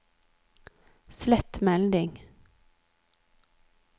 slett melding